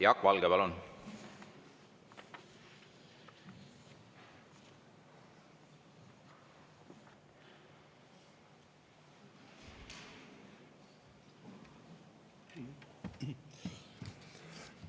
Jaak Valge, palun!